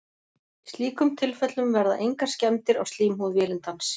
í slíkum tilfellum verða engar skemmdir á slímhúð vélindans